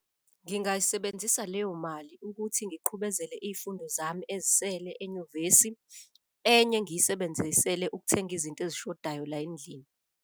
Ngingayisebenzisa leyo mali ukuthi ngiqhubezele iy'fundo zami ezisele enyuvesi, enye ngiyisebenzisele ukuthenga izinto ezishodayo la endlini.